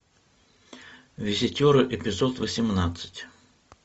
визитеры эпизод восемнадцать